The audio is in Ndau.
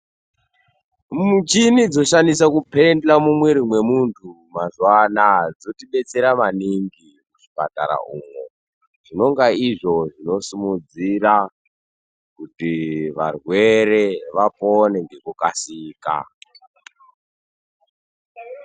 Muchini dzoshandiswe kupendhla mumwiri mwemunhu mazuwa anaya dzotibetsera maningi muzvipatara umwo zvinonga izvo zvinosimudzira kuti varwere vapone ngekukasika.